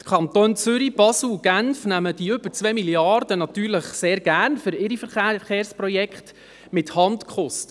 Die Kantone Zürich, Basel und Genf nehmen für ihre Verkehrsprojekte die über 2 Mrd. Franken natürlich sehr gerne mit Handkuss.